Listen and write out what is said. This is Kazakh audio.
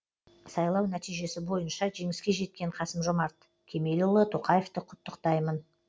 сайлау нәтижесі бойынша жеңіске жеткен қасым жомарт кемелұлы тоқаевты құттықтаймын